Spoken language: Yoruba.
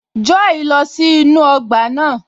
Joy lọ sí inú ọgbà náà